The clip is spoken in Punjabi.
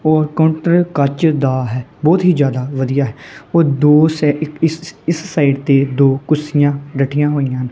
ਹੋਰ ਕੋਂਟਰ ਕੱਚ ਦਾ ਹੈ ਬਹੁਤ ਹੀ ਜਿਆਦਾ ਵਧੀਆ ਹੈ ਉਹ ਦੋ ਇਸ ਸਾਈਡ ਤੇ ਦੋ ਕੁਰਸੀਆਂ ਡਟੀਆਂ ਹੋਈਆਂ।